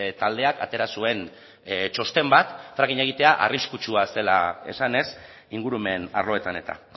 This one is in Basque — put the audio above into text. taldeak atera zuen txosten bat frackinga egitea arriskutsua zela esanez ingurumen arloetan eta